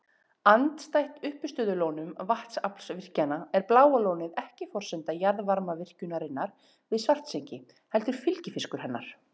Andstætt uppistöðulónum vatnsaflsvirkjana er Bláa lónið ekki forsenda jarðvarmavirkjunarinnar við Svartsengi heldur fylgifiskur hennar.